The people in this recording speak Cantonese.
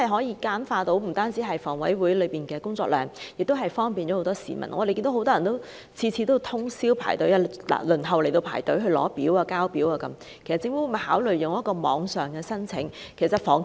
此舉不但能減輕房委會的工作量，亦能方便市民，因為每次均有很多人通宵排隊輪候索取和遞交表格，那麼政府會否考慮採取網上申請安排？